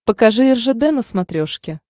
покажи ржд на смотрешке